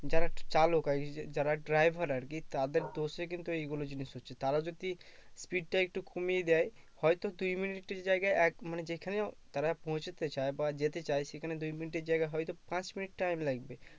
যারা চালক আর কি যারা driver আর কি তাদের দোষে কিন্তু এইগুলো জিনিস হচ্ছে তারা যদি speed টা একটু কমিয়ে দেয় হয়তো দুই মিনিটের জায়গায় এক মানে যেখানে তারা পৌঁছতে চায়ে বা যেতে চায়ে সেখানে দুই মিনিটের জায়গায় হয়তো পাঁচ মিনিট time লাগবে